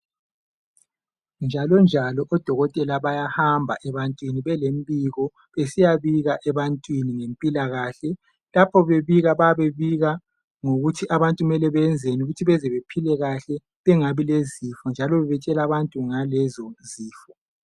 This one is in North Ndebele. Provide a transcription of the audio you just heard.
njalo njaloodokotela bayahamba ebantwini belembiko besiyabika ebantwini ngempilakahle lapho bebika babebika ngokuthi abantu benzeni ukwenzelaukuthi baphile kahl bengabi lezifo njalo betshel abantu ngalezo zifo